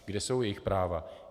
Kde jsou jejich práva?